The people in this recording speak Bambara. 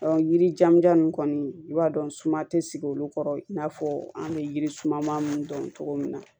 yiri jan nun kɔni i b'a dɔn suma tɛ sigi olu kɔrɔ i n'a fɔ an bɛ yiri suma ninnu dɔn cogo min na